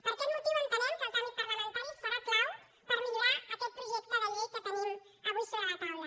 per aquest motiu entenem que el tràmit parlamentari serà clau per millorar aquest projecte de llei que tenim avui sobre la taula